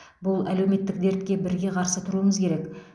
бұл әлеуметтік дертке бірге қарсы тұруымыз керек